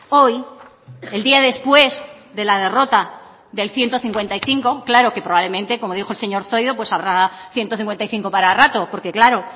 hoy el día después de la derrota del ciento cincuenta y cinco claro que probablemente como dijo el señor zoido pues habrá ciento cincuenta y cinco para rato porque claro